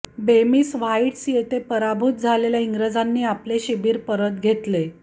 बेमिस Heights येथे पराभूत झालेल्या इंग्रजांनी आपले शिबीर परत घेतले